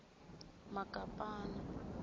makapana